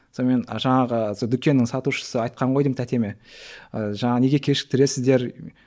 сонымен жаңағы сол дүкеннің сатушысы айтқан ғой деймін тәтеме ы жаңағы неге кешіктіресіздер